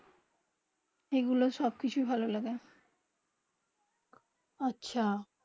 যেই গুলু সব কিচ ভালো লাগে, আচ্ছা